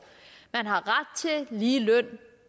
at lige løn